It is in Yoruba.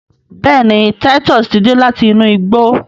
béèni Titus tí dé láti inú igbó.